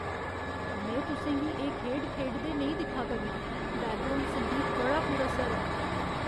में तुसें गी एह् खेढ खेढदे नेईं दिक्खा करनां । बैकग्राउंड संगीत बड़ा पुरअसर ऐ!